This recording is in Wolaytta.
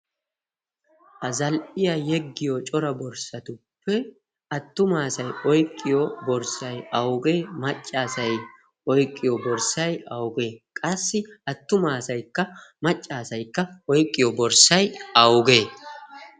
a zal'iya yeggiyo cora borssatuppe attuma asay oyqqiyo borssay awugee? Macca asay oyqqiyo borssay awugee? Qassi attuma asaykka macca asaykka oyqqiyo borssay awugee?